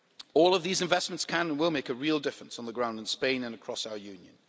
All of these investments can, and will, make a real difference on the ground in Spain and across our Union.